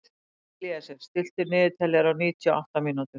Elíeser, stilltu niðurteljara á níutíu og átta mínútur.